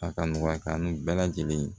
A ka nɔgɔya ka ni bɛɛ lajɛlen ye